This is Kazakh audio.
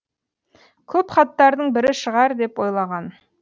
көп хаттардың бірі шығар деп ойлаған